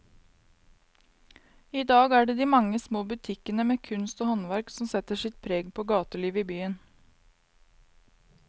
I dag er det de mange små butikkene med kunst og håndverk som setter sitt preg på gatelivet i byen.